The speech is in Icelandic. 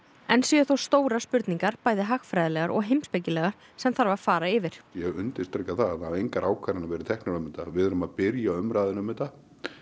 enn séu þó stórar spurningar bæði hagfræðilegar og heimspekilegar sem þarf að fara yfir ég undirstrika það hafa engar ákvarðanir verið teknar um þetta við erum að byrja umræðuna um þetta